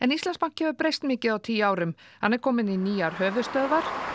Íslandsbanki hefur breyst mikið á tíu árum hann er kominn í nýjar höfuðstöðvar